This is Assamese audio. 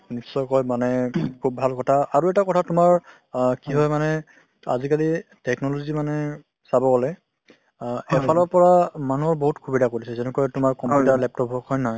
নিশ্চয় কৈ মানে খুব ভাল কথা । আৰু এটা কথা তোমাৰ অ কি হয় মানে আজিকালি technology মানে কব গলে অ এফালৰ পৰা মানুহৰ বহুত সুবিধা কৰি দিছে যেনেকৈ তোমাৰ computer laptop হওঁক , হয় নে নহয়।